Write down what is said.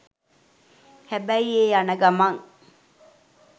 හැබැයි ඒ යන ගමන්